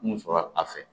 Mun sɔrɔ a fɛ